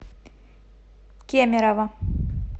кемерово